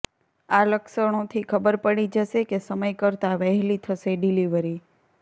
આ લક્ષણોથી ખબર પડી જશે કે સમય કરતા વહેલી થશે ડિલિવરી